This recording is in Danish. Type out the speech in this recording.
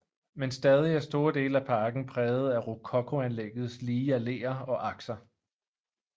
Men stadig er store dele af parken præget af rokokoanlæggets lige alleer og akser